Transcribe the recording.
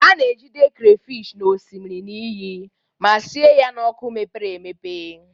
A na-ejide crayfish n'osimiri na iyi ma sie ya n'ọkụ mepere emepe.